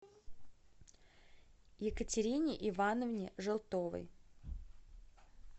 екатерине ивановне желтовой